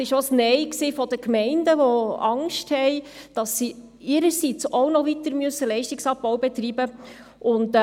Es war auch ein Nein der Gemeinden, die Angst haben, dass sie ihrerseits auch noch weiteren Leistungsabbau betreiben müssen.